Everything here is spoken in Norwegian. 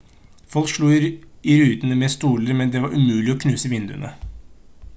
folk slo i rutene med stoler men det var umulig å knuse vinduene